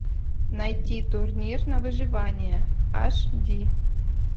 найти турнир на выживание аш ди